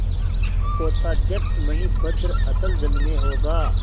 पोताध्यक्ष मणिभद्र अतल जल में होगा